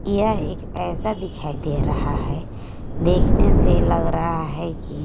यह एक ऐसा दिखाई दे रहा है देखने से लग रहा है कि--